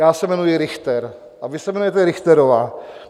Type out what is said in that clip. Já se jmenuji Richter a vy se jmenujete Richterová.